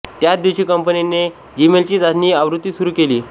त्याच दिवशी कंपनीने जीमेलची चाचणी आवृत्ती सुरू केली